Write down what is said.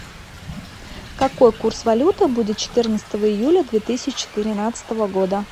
какой курс валюты будет четырнадцатого июля две тысячи тринадцатого года